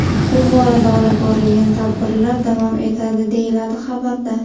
Bu borada olib borilayotgan tadbirlar davom etadi”, deyiladi xabarda.